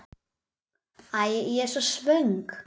Æ, ég er svo svöng.